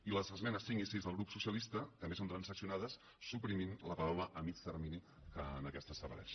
i les esmenes cinc i sis del grup socialista també són transaccionades suprimint la paraula a mitjà termini que en aquesta desapareix